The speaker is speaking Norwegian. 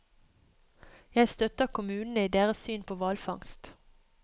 Jeg støtter kommunene i deres syn på hvalfangst.